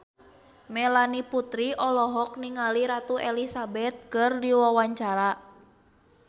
Melanie Putri olohok ningali Ratu Elizabeth keur diwawancara